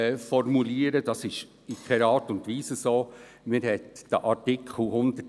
Dies figuriert nicht mehr im Text.